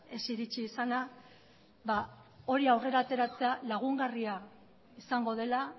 ez iritsi izana ba hori aurrera ateratzea lagungarria izango dela